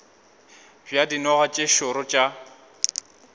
bja dinoga tše šoro tša